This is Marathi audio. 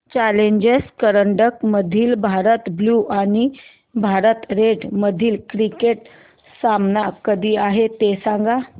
चॅलेंजर करंडक मधील भारत ब्ल्यु आणि भारत रेड मधील क्रिकेट सामना कधी आहे ते सांगा